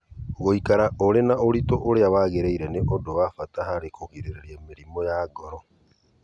Gũikara ũrĩ na ũritũ ũrĩa wagĩrĩire nĩ ũndũ wa bata harĩ kũgirĩrĩria mĩrimũ ya ngoro.